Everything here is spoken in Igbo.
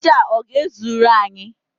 Aja a ọ ga-ezuru anyị?